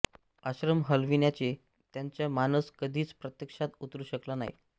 आश्रम हलविण्याचे त्यांचा मानस कधीच प्रत्यक्षात उतरू शकला नाही